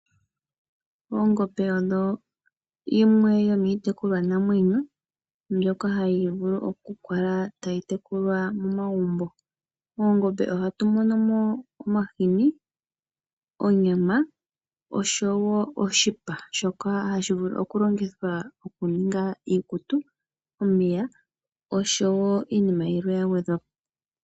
Oongombe odho dhimwe dhomiitekulwanamwenyo mbyoka hayi vulu okukala tayi tekulwa momagumbo. Moongombe ohatu mono mo omahini, onyama osho wo oshipa shoka hashi vulu okulongithwa okuninga iikutu, omapaya osho wo iinima yilwe ya gwedhwa po.